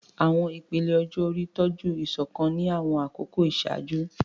Àwọn ìpele ọjọ́ orí tọ́jú ìṣọ̀kan ní àwọn àkókò ìṣáájú.